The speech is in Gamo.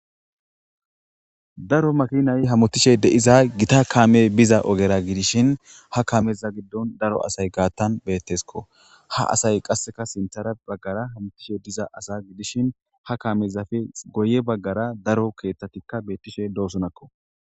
daro makinay hamotishe deiza gita kame biza ogera gidishin ha kameza giddon daro asay gaattan beettesko ha asay qasseka sintara baggara hamotishe diza asa gidishin ha kamezafe goye baggara daro keethtatikka beettishe doosonakko